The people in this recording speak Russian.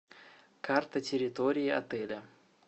карта территории отеля